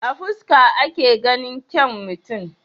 A fuska ake ganin kyaun mutum?